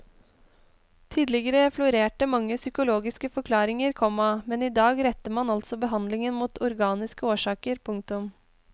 Tidligere florerte mange psykologiske forklaringer, komma men i dag retter man altså behandlingen mot organiske årsaker. punktum